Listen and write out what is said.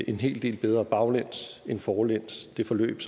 en hel del bedre baglæns end forlæns det forløb